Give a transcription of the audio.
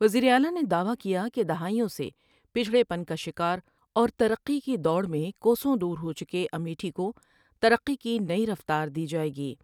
وزیر اعلی نے دعوی کیا کہ دہائیوں سے پچڑے پن کا شکار اورترقی کی دوڑ میں کوسوں دور ہو چکے امیٹھی کو ترقی کی نئی رفتار دی جاۓ گی ۔